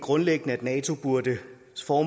går